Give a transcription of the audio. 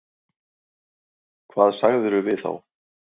Hvað sagðirðu við þá?